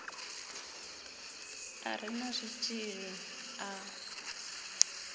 a re na zwitshili a